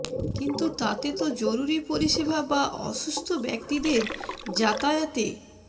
কিন্তু তাতে তো জরুরি পরিষেবা বা অসুস্থ ব্যক্তিদের যাতায়াতে